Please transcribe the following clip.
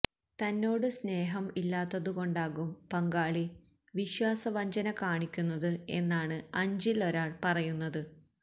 തന്നോട് സ്നേഹം ഇല്ലാത്തതുകൊണ്ടാകും പങ്കാളി വിശ്വാസവഞ്ചന കാണിക്കുന്നത് എന്നാണ് അഞ്ചിൽ ഒരാൾ പറയുന്നത്